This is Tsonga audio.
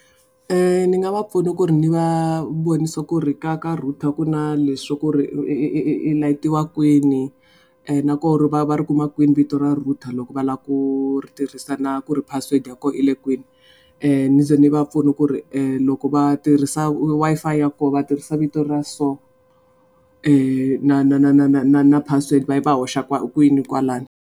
Ni nga va pfuna ku ri ni va vonisa ku ri ka ka router ku na leswi swa ku ri i light-iwa kwini. Na ku ri va ri kuma kwini vito ra router loko va lava ku ri thirhisa na ku ri password ya kona yi le kwini. Ni ze ni va pfuna ku ri loko va tirhisa Wi-Fi ya koho va tirhisa vito ra so. Na na na na na na password va hoxa kwini kwalano.